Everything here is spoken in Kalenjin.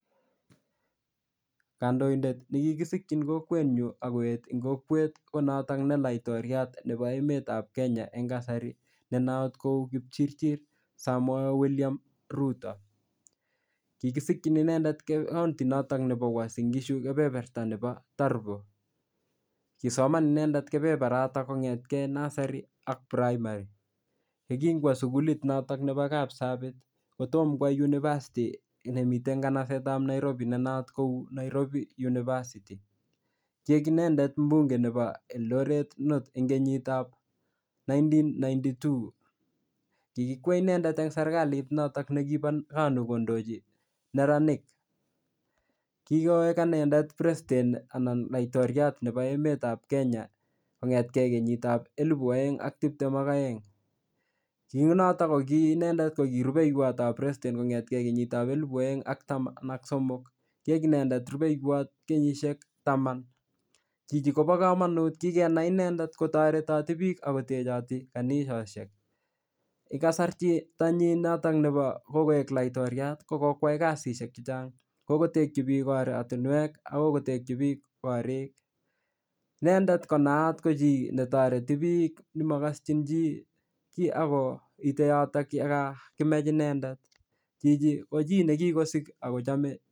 Kandoidet ne kikisikchin kokwet nyu akoet eng kokwet, ko notok ne laitoriat nebo emetab Kenya eng kasari ne not ko Kipchichir Samoei William Ruto. Kikisikchin inendet county notok nebo Uasin-Gishu keberberta nebo Turbo. Kisoman inendet kebeberatak kongetkey nursery ak primary. Yekingwo sukulit notok nebo Kapsabet, kotomkwo university nemitei eng kanasetab Nairobi, ne not ko Nairobi university. Kiek inendet mbunge nebo Eldoret North eng kenyitap nineteen ninety-two. Kikikwei inendet eng serikalit notok nekibo KANU kondochi neranik. KIkoek inendet president anan laitoriat nebo emetab Kenya kongetkey kenyit ap elepu aeng ak tiptem ak aeng. Ki unotok, ko ki inendet ko kiy rubeiywot ap president kongetkey kenyit ap elepu aeng ak taman ak somok. Kiek inendet rubeiywot kenyishiek taman. Chichi kobo komonut, kikenai inendet kotoretoti biik akotechoti kanisoshek. nyi notok nebo kokoek laitoriat ko kokwai kasishek chechang'. Kokotekchi biik oratunwek akokotekchi biik korik. Inendet ko naat ko chii netoreti biik nemakaschin chi kiy akoite yotok yekakimach inendet. Chichi ko chi ne kikosik akochame